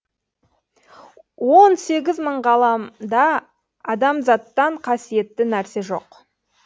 он сегіз мың ғаламда адамзаттан қасиетті нәрсе жоқ